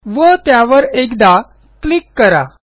व त्यावर एकदा क्लिक करा